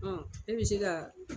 e bi se ka